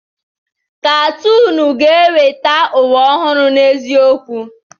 Katoonu ga-eweta ụwa ọhụrụ n'eziokwu.